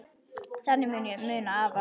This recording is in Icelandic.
Þannig mun ég muna afa.